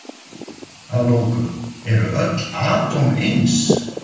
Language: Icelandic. Að lokum, eru öll atóm eins?